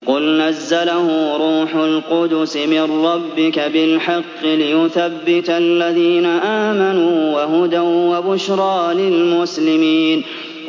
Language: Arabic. قُلْ نَزَّلَهُ رُوحُ الْقُدُسِ مِن رَّبِّكَ بِالْحَقِّ لِيُثَبِّتَ الَّذِينَ آمَنُوا وَهُدًى وَبُشْرَىٰ لِلْمُسْلِمِينَ